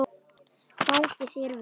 Gangi þér vel!